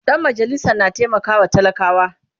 Dan majalisan na taimakawa talakawa